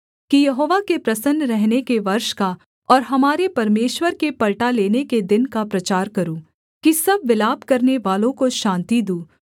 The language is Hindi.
कि यहोवा के प्रसन्न रहने के वर्ष का और हमारे परमेश्वर के पलटा लेने के दिन का प्रचार करूँ कि सब विलाप करनेवालों को शान्ति दूँ